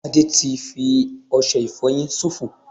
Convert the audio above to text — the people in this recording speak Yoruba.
Ade ti fi ọsẹ ìfoyin sofo